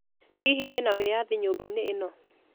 Hihi wĩna wĩyathi nyũmba-inĩ ĩno?